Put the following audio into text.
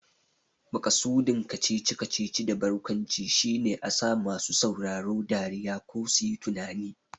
Maƙasudin kacici-kacici da barkwanci shine a sa masu sauraro dariya ko suyi tunani.